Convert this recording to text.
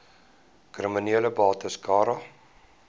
kriminele bates cara